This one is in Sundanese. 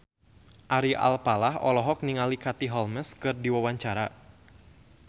Ari Alfalah olohok ningali Katie Holmes keur diwawancara